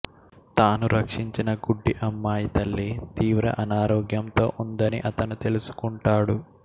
తాను రక్షించిన గుడ్డి అమ్మాయి తల్లి తీవ్రంగా అనారోగ్యంతో ఉందని అతను తెలుసుకుంటాడు